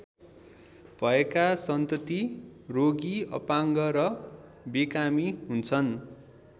भएका सन्तति रोगी अपाङ्ग र बेकामी हुन्छन्।